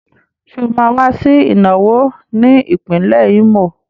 Ṣé ó máa wá sí ìnáwó ní ìpínlẹ̀ Ímò?